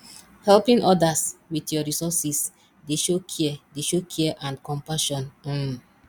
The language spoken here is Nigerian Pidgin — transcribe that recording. helping odas with yur resources dey show care dey show care and compassion um